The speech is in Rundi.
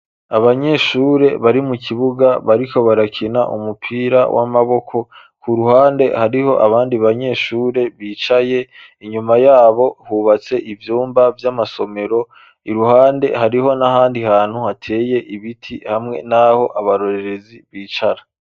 Abanyeshure, bari mu kibuga, bariko barakina, umupira w'amaboko; ku ruhande, hariho abandi banyeshure, bicaye; inyuma y'abo, hubatse ivyumba vy'amasomero; iruhande, hariho n'ahandi hantu, hateye ibiti, hamwe n'aho, abarorerezi bicara.